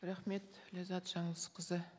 рахмет ләззат жаңылысқызы